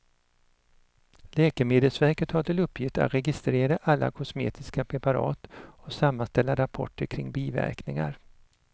Läkemedelsverket har till uppgift att registrera alla kosmetiska preparat och sammanställa rapporter kring biverkningar.